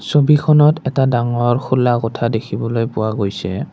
ছবিখনত এটা ডাঙৰ খোলা কোঠা দেখিবলৈ পোৱা গৈছে।